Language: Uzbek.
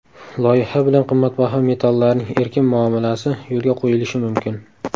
Loyiha bilan qimmatbaho metallarning erkin muomalasi yo‘lga qo‘yilishi mumkin.